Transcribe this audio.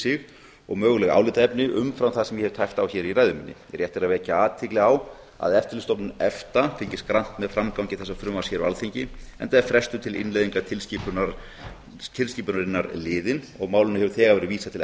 sig og möguleg álitaefni umfram það sem ég hef tæpt á hér í ræðu minni rétt er að vekja athygli á að eftirlitsstofnun efta fylgist grannt með framgangi þessa frumvarps hér á alþingi enda er frestur a innleiðingar tilskipunarinnar liðinn og málinu hefur þegar verið vísað til